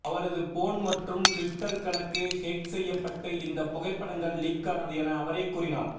அவரது போன் மற்றும் ட்விட்டர் கணக்கு ஹேக் செய்யப்பட்டு இந்த புகைப்படங்கள் லீக் ஆனது என அவரே கூறினார்